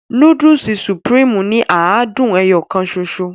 Núdùùsì "Supreme" ni àádùn ẹyọ kàn ṣoṣo.